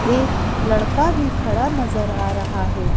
एक लड़का भी खड़ा नजर आ रहा है।